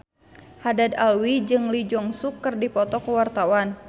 Haddad Alwi jeung Lee Jeong Suk keur dipoto ku wartawan